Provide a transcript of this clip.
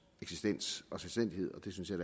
eksistens og selvstændighed og det synes jeg